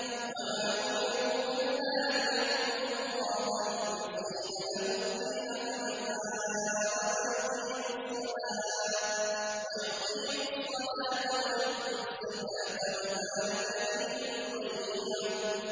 وَمَا أُمِرُوا إِلَّا لِيَعْبُدُوا اللَّهَ مُخْلِصِينَ لَهُ الدِّينَ حُنَفَاءَ وَيُقِيمُوا الصَّلَاةَ وَيُؤْتُوا الزَّكَاةَ ۚ وَذَٰلِكَ دِينُ الْقَيِّمَةِ